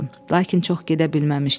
Lakin çox gedə bilməmişdi.